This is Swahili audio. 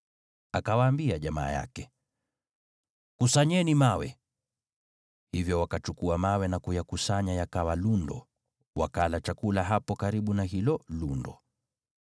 Akawaambia jamaa yake, “Kusanyeni mawe.” Hivyo wakachukua mawe na kuyakusanya yakawa lundo, wakala chakula hapo karibu na hilo lundo.